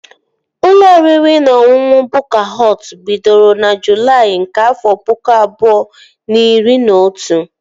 Ụlọ oriri na ọṅụṅụ Bukka Họt bidoro na Julaị nke afọ pụkụ abụọ na iri na otu